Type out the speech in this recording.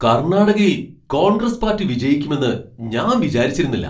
കർണാടകയിൽ കോൺഗ്രസ് പാർട്ടി വിജയിക്കുമെന്ന് ഞാൻ വിചാരിച്ചിരുന്നില്ല.